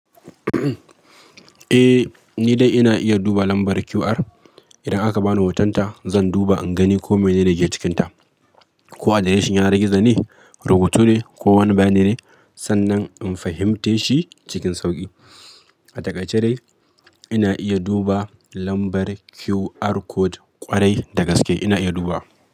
Eh, ni dai ina iya duba lambar QR. Idan aka bani hotonta zan duba in gani ko menene ke cikinta, ko adireshin yanar gizo ne, rubutu ne ko wani bayani ne sannan in fahimceshi cikin sauƙi. A takaice dai ina iya duba lambar QR code ƙwarai da gaske ina iya dubawa.